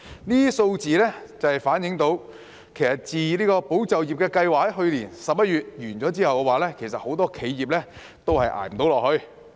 這些數字反映出，自"保就業"計劃於去年11月結束後，很多企業都撐不下去。